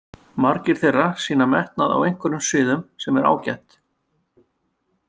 Margir þeirra sýna metnað á einhverjum sviðum sem er ágætt.